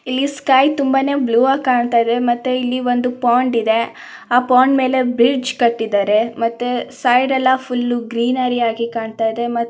ಇಲ್ಲಿ ಸ್ಕೈ ತುಂಬಾನೇ ಬ್ಲೂವಾಗೆ ಕಾಣ್ತಾಯಿದೆ ಮತ್ತೆ ಇಲ್ಲಿ ಒಂದು ಪಾಂಡ್ ಇದೆ ಆ ಪಾಂಡ್ ಮೇಲೆ ಬ್ರಿಜ್ ಕಟ್ಟಿದ್ದಾರೆ ಮತ್ತೆ ಸೈಡ್ ಎಲ್ಲಾ ಫುಲ್ ಗ್ರಿನರಿಯಾಗಿ ಕಾಣ್ತಾ ಇದೆ.